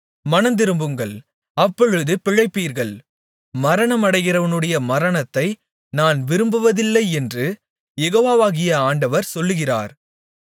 மனந்திரும்புங்கள் அப்பொழுது பிழைப்பீர்கள் மரணமடைகிறவனுடைய மரணத்தை நான் விரும்புவதில்லை என்று யெகோவாகிய ஆண்டவர் சொல்லுகிறார்